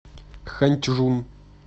ханьчжун